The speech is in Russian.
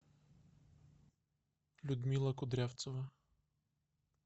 людмила кудрявцева